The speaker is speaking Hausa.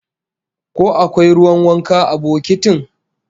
Ko akwai ruwan wanka a bokotin?